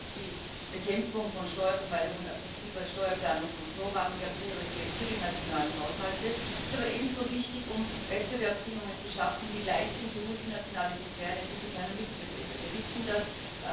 Deshalb ist die Bekämpfung von Steuervermeidung und aggressiver Steuerplanung von vorrangiger Priorität für die nationalen Haushalte. Sie ist aber ebenso wichtig, um Wettbewerbsbedingungen zu schaffen, die für multinationale Konzerne sowie für Klein und Mittelbetriebe gleich sind.